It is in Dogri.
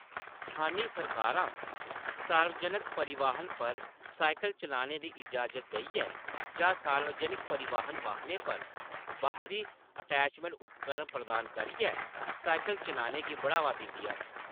स्थानी सरकारां सार्वजनक परिवहन पर साइकल चलाने दी इजाज़त देइयै जां सार्वजनक परिवहन वाहनें पर बाहरी अटैचमेंट उपकरण प्रदान करियै साइकल चलाने गी बढ़ावा दिंदियां न।